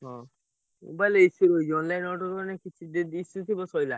ହଁ mobile escape ହେଇଯିବ online order ରୁ ଆଣିବ ସଇଲା।